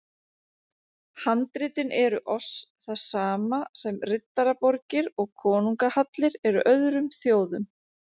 Handritin eru oss það sama sem riddaraborgir og konungahallir eru öðrum þjóðum.